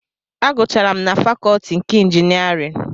Agụcharụ m na fakọtị nke ịnjinierịn